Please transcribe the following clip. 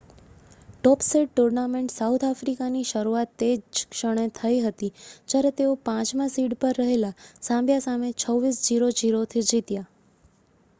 ટોપ seed tournament south આફ્રિકાની શરૂઆત તે જ ક્ષણે થઈ હતી જ્યારે તેઓ 5 માં સીડ પર રહેલ ઝામ્બિયા સામે 26 - 00 થી જીત્યા